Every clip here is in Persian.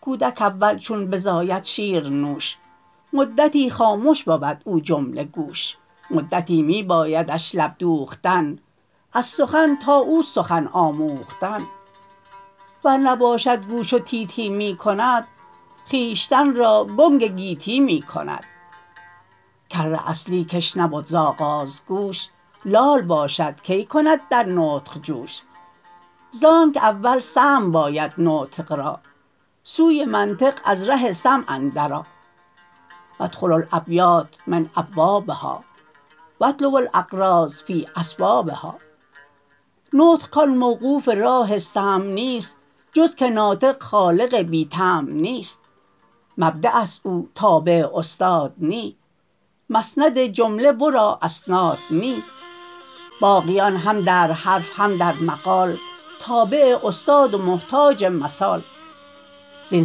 کودک اول چون بزاید شیرنوش مدتی خامش بود او جمله گوش مدتی می بایدش لب دوختن از سخن تا او سخن آموختن ور نباشد گوش و تی تی می کند خویشتن را گنگ گیتی می کند کر اصلی کش نبد ز آغاز گوش لال باشد کی کند در نطق جوش زانکه اول سمع باید نطق را سوی منطق از ره سمع اندر آ وادخلوا الابیات من ابوابها واطلبوا الاغراض فی اسبابها نطق کان موقوف راه سمع نیست جز که نطق خالق بی طمع نیست مبدعست او تابع استاد نی مسند جمله ورا اسناد نی باقیان هم در حرف هم در مقال تابع استاد و محتاج مثال زین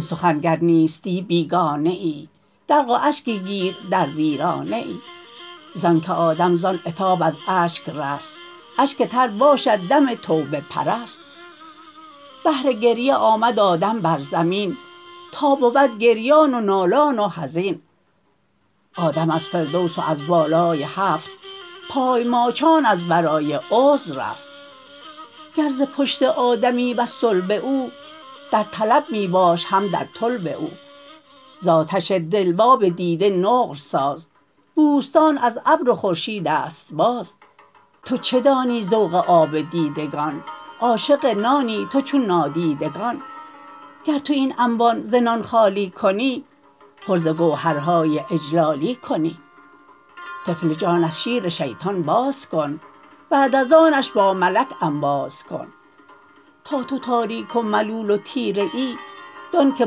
سخن گر نیستی بیگانه ای دلق و اشکی گیر در ویرانه ای زانک آدم زان عتاب از اشک رست اشک تر باشد دم توبه پرست بهر گریه آمد آدم بر زمین تا بود گریان و نالان و حزین آدم از فردوس و از بالای هفت پای ماچان از برای عذر رفت گر ز پشت آدمی وز صلب او در طلب می باش هم در طلب او ز آتش دل و آب دیده نقل ساز بوستان از ابر و خورشیدست باز تو چه دانی ذوق آب دیدگان عاشق نانی تو چون نادیدگان گر تو این انبان ز نان خالی کنی پر ز گوهرهای اجلالی کنی طفل جان از شیر شیطان باز کن بعد از آنش با ملک انباز کن تا تو تاریک و ملول و تیره ای دان که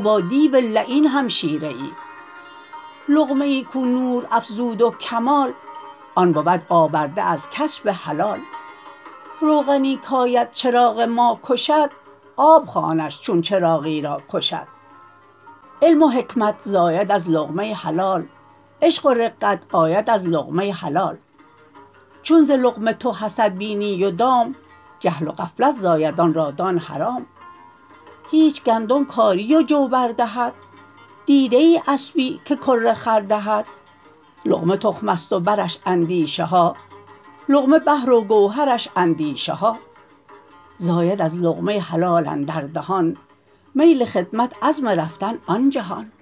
با دیو لعین همشیره ای لقمه ای کو نور افزود و کمال آن بود آورده از کسب حلال روغنی کاید چراغ ما کشد آب خوانش چون چراغی را کشد علم و حکمت زاید از لقمه حلال عشق و رقت آید از لقمه حلال چون ز لقمه تو حسد بینی و دام جهل و غفلت زاید آن را دان حرام هیچ گندم کاری و جو بر دهد دیده ای اسپی که کره خر دهد لقمه تخمست و برش اندیشه ها لقمه بحر و گوهرش اندیشه ها زاید از لقمه حلال اندر دهان میل خدمت عزم رفتن آن جهان